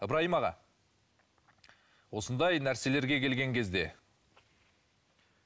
ыбырайым аға осындай нәрселерге келген кезде